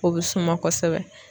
O be suma kosɛbɛ